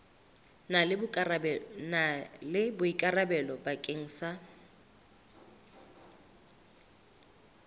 na le boikarabelo bakeng sa